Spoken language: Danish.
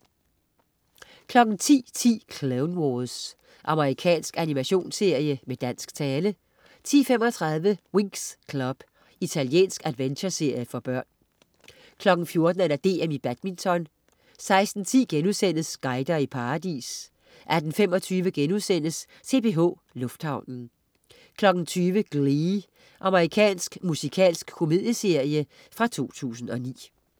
10.10 Clone Wars. Amerikansk animationsserie, med dansk tale 10.35 Winx Club. Italiensk adventureserie for børn 14.00 Badminton: DM 16.10 Guider i paradis* 18.25 CPH. Lufthavnen* 20.00 Glee. Amerikansk musikalsk komedieserie fra 2009